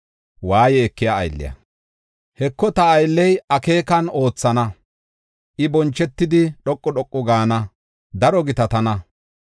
“Heko, ta aylley akeekan oothana; I bonchetidi, dhoqu dhoqu gaana; daro gitatana.